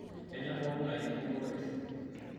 Kenyor pookingae endungoto olkesi